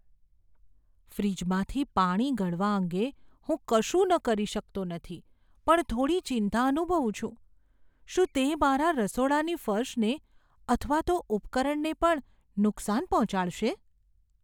ફ્રિજમાંથી પાણી ગળવા અંગે હું કશું ન કરી શકતો નથી પણ થોડી ચિંતા અનુભવું છું, શું તે મારા રસોડાની ફર્શને અથવા તો ઉપકરણને પણ નુકસાન પહોંચાડશે?